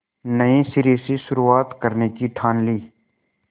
नए सिरे से शुरुआत करने की ठान ली